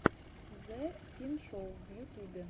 зэ синшоу в ютубе